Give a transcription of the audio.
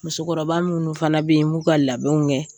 Musokɔrɔba minnu fana bɛ yen m'u ka labɛnw kɛ.